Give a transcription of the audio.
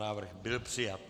Návrh byl přijat.